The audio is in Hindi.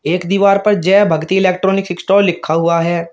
एक दीवार पर जय भगति इलेक्ट्रॉनिक स्टोर लिखा हुआ है।